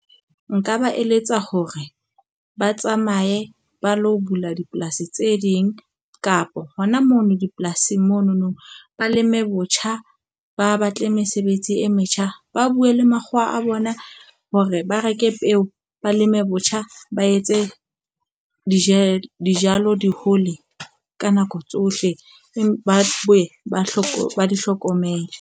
Nka ba eletsa hore ba tsamaye ba lo bula dipolasi tse ding kapa hona mono dipolasing monono. Ba leme botjha, ba batle mesebetsi e metjha, ba buwe le makgowa a bona hore ba reke peo, ba leme botjha ba etse dijalo dijalo di hole ka nako tsohle. Ba bona ba hloka ba di hlokomele.